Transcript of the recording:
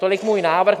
Tolik můj návrh.